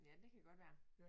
Ja det kan godt være